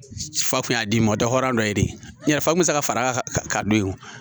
Fa kun y'a d'i ma dɔ hɔrɔnya dɔ ye yarɔ fakun bɛ se ka far'a kan ka don yen o